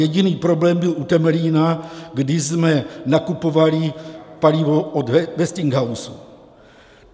Jediný problém byl u Temelína, kdy jsme nakupovali palivo od Westinghouse.